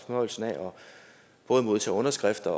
fornøjelsen af at modtage underskrifter